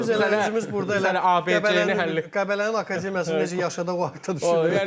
Bizim özümüz burda elə Qəbələnin akademiyasını necə yaşadaq haqqında düşünür.